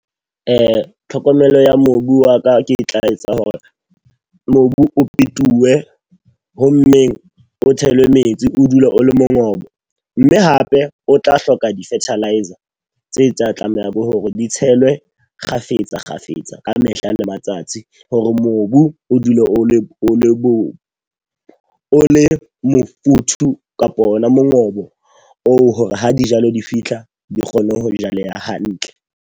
Tlhokomelo ya mobu wa ka, ke tla etsa hore mobu o pentuwe. Ho mmeng o tshele metsi o dule o le mongobo. Mme hape o tla hloka di-fertiliser tse tsa tlameha bo hore di tshelwe kgafetsa kgafetsa ka mehla le matsatsi. Hore mobu o dule o le o le mofuthu kapa ona mongobo oo hore ha dijalo di fitlha di kgone ho di jaleha hantle.